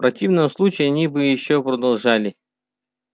в противном случае они бы ещё подождали